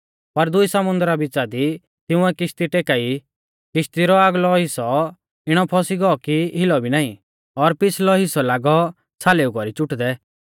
पर दुई समुन्दरा बिच़ा दी तिंउऐ किश्ती टेकाई किश्ती रौ आगलौ हिस्सौ इणौ फौसी गौ कि हिलौ भी नाईं और पिछ़लौ हिस्सौ लागौ छ़ालेऊ कौरी चुटदै